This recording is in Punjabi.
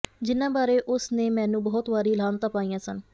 ਜਿਨ੍ਹਾਂ ਬਾਰੇ ਉਸ ਨੇ ਮੈਨੂੰ ਬਹੁਤ ਵਾਰੀ ਲਾਹਨਤਾਂ ਪਾਈਆਂ ਸਨ